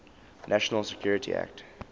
national security act